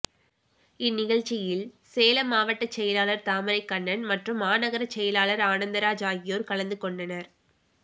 இந்நிழ்ச்சியில் சேலம் மாவட்ட செயலாளர் தாமரைக் கண்ணன் மற்றும் மாநகர செயலாளர் ஆனந்தராஜ் ஆகியோர் கலந்துகொண்டனர்